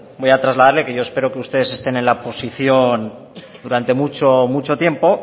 voy a trasladarle que yo espero que ustedes estén en la oposición durante mucho tiempo